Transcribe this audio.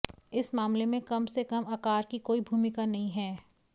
इस मामले में कम से कम आकार की कोई भूमिका नहीं है